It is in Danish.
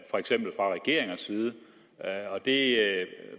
for eksempel fra regeringers side det